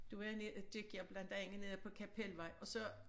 Der var jeg ned gik jeg blandt andet nede på Kapelvej og så